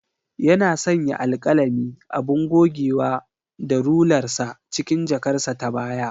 Yana sanya alkalami, abun gogewa da rular sa cikin jakarsa ta baya.